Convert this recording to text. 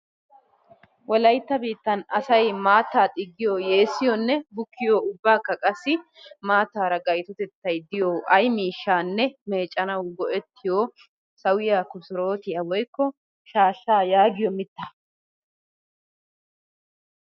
Wolayittaa biittan asayi maattaa xiggiyoo, yeessiyoone bukkiyoo ubbaakka qassi maattaara gayitotetti diyo ayi miishshanne meeccanawu go'ettiyoo sawiyaa kosorootiyaa woyikko shaashshaa yaagiyoo mittaa.